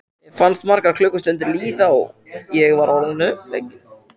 Mér fannst margar klukkustundir líða og ég var orðin uppgefin.